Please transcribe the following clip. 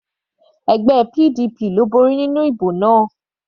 Ẹgbẹ́ PDP ló borí nínú ìbò náà.